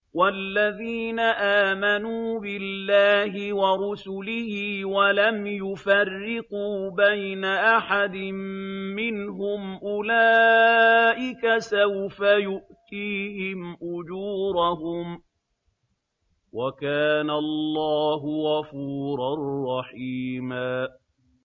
وَالَّذِينَ آمَنُوا بِاللَّهِ وَرُسُلِهِ وَلَمْ يُفَرِّقُوا بَيْنَ أَحَدٍ مِّنْهُمْ أُولَٰئِكَ سَوْفَ يُؤْتِيهِمْ أُجُورَهُمْ ۗ وَكَانَ اللَّهُ غَفُورًا رَّحِيمًا